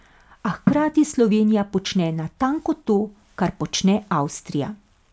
A hkrati Slovenija počne natanko to, kar počne Avstrija.